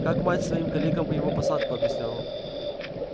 как мать своим коллегам бы его посадку объясняла